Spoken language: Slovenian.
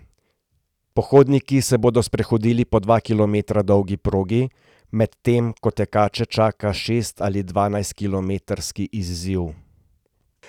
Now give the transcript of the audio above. Pohodniki se bodo sprehodili po dva kilometra dolgi progi, medtem ko tekače čaka šest ali dvanajstkilometrski izziv.